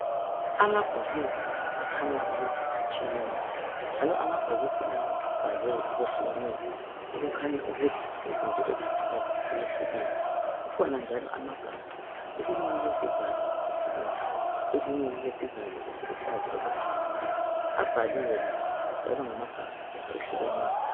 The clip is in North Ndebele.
Amabhokisi akhanya ukuthi atshiyene njalo amabhokisi la abhalwe okwehlukeneyo okukhanya ukuthi izinto eziphakathi ziyehlukene. Kukhona njalo amagabha, elinye lilesivalo ezibomvu, elinye lilesivalo okwesibhakabhaka. Abhaliwe lawo njalo ngamagabha ehlukeneyo.